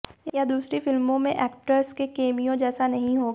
यह दूसरी फिल्मों में एक्टर्स के केमियो जैसा नहीं होगा